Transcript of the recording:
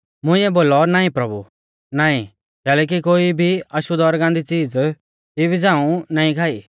मुंइऐ बोलौ नाईं प्रभु नाईं कैलैकि कोई भी अशुद्ध और गान्दी च़ीज़ इबी झ़ांऊ नाईं खाई